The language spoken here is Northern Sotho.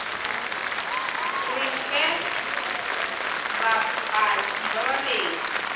re fe bapaki ba bedi